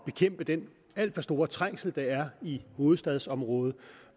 bekæmpe den alt for store trængsel der er i hovedstadsområdet